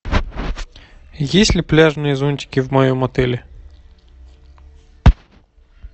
есть ли пляжные зонтики в моем отеле